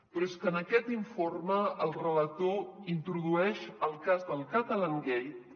però és que en aquest informe el relator introdueix el cas del catalangate